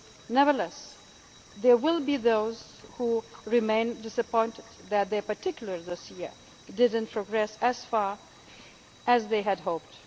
of achieving. Nevertheless, there will be those who remain disappointed that their particular dossier did not progress as far